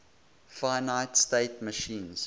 finite state machines